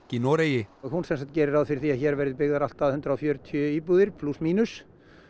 í Noregi hún gerir ráð fyrir því að hér verði byggðar allt að hundrað og fjörutíu íbúðir plús mínus